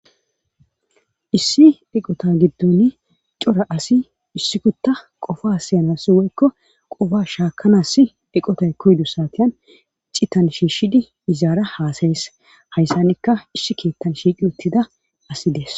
Issi deqota gidduni cora asi issi kutta qofa siyanasi woykko qoba shaakanas eqotay koydu saatyan cittan shiishshidi izaara haasayes hayssanikka issi keettan shiiqi uttida asi des